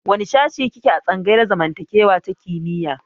Wane shashi ki ke a tsangayar zamantakewa ta kimiyya?